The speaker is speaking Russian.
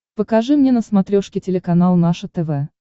покажи мне на смотрешке телеканал наше тв